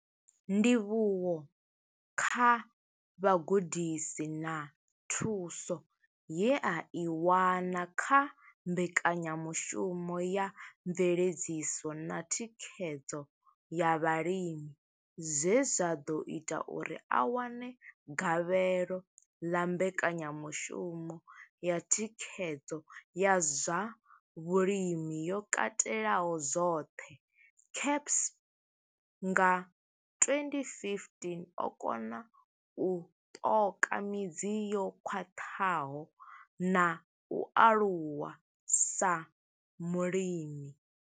Ndivhuwo kha vhugudisi na thuso ye a i wana kha mbekanyamushumo ya mveledziso na thikhedzo ya vhalimi zwe zwa ḓo ita uri a wane gavhelo ḽa mbekanyamushumo ya thikhedzo ya zwa Vhulimi yo katelaho zwoṱhe CASP bnga 2015, o kona u ṱoka midzi yo khwaṱhaho na u aluwa sa mulimi.